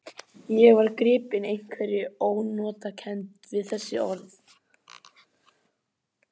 Ég var gripinn einhverri ónotakennd við þessi orð.